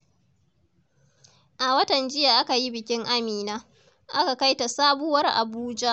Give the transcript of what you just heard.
A watan jiya aka yi bikin Amina, aka kai ta sabuwar Abuja.